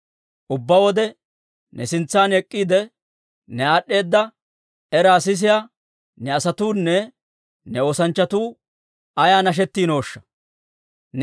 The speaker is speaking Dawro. Ubbaa wode ne sintsan ek'k'iide, ne aad'd'eeda era sisiyaa ne asatuunne ne oosanchchatuu ayaa nashettiinooshsha!